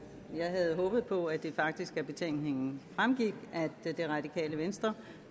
havde håbet på at det faktisk af betænkningen fremgik at det radikale venstre